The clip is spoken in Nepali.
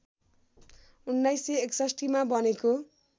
१९६१ मा बनेको